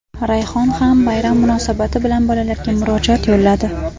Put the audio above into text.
Rayhon ham bayram munosabati bilan bolalarga murojaat yo‘lladi.